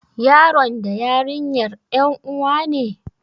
Yaron da yarinyar ƴan uwa ne?